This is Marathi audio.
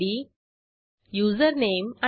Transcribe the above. नंतर यशस्वीरित्या चेकआउट केल्याचा मेसेज मिळेल